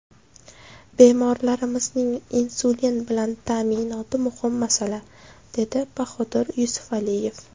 Bemorlarimizning insulin bilan ta’minoti muhim masala”, dedi Bahodir Yusufaliyev.